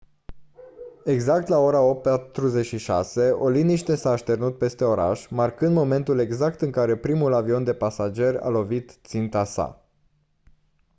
exact la ora 08:46 o liniște s-a așternut peste oraș marcând momentul exact în care primul avion de pasageri a lovit ținta sa